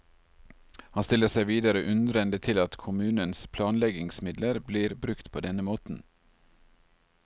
Han stiller seg videre undrende til at kommunens planleggingsmidler blir brukt på denne måten.